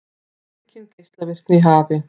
Aukin geislavirkni í hafi